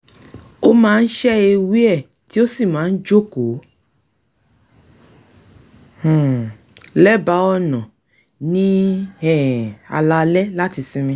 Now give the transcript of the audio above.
ó máa ń se ewé e e tíì ó sì máa ń jókòó um lẹ́bàá ọ̀nà ní um alaalẹ́ láti sinmi